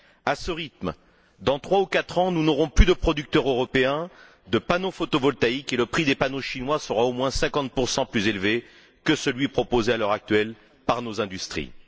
À ce rythme, dans trois ou quatre ans, nous n'aurons plus de producteurs européens de panneaux photovoltaïques et le prix des panneaux chinois sera au moins 50 plus élevé que celui proposé à l'heure actuelle par nos industries.